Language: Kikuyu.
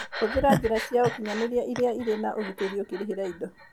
Hũthĩra njĩra cia ũkinyanĩria iria irĩ na ũgitĩri ũkĩrĩhĩra indo.